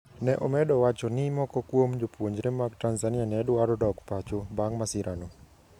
Ne omedo wacho ni moko kuom jopuonjre mag Tanzania ne dwaro dok pacho bang ' masirano.